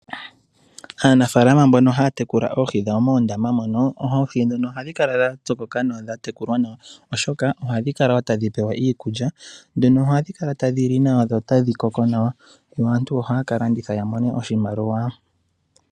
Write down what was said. Aanafalama mbono haya tekula oohi dhawo moondama mono. Oohi dhono ohadhi kala dha tsokoka nawa dha tekulwa nawa. Oshoka ohadhi kala wo tadhi pewa iikulya. Dhono ohadhi kala tadhi li nawa dho otadhi koko nawa. Yo aantu ohaya ka landitha ya mone oshimaliwa.